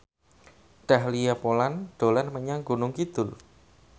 Dahlia Poland dolan menyang Gunung Kidul